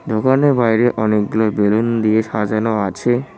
দোকানের বাইরে অনেকগুলো বেলুন দিয়ে সাজানো আছে।